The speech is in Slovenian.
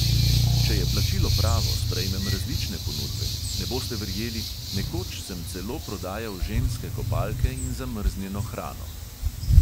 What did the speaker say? Če je plačilo pravo, sprejmem različne ponudbe, ne boste verjeli, nekoč sem celo prodajal ženske kopalke in zamrznjeno hrano.